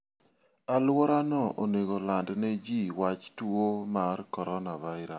Alworano onego oland ne ji wach tuo mar coronavirus.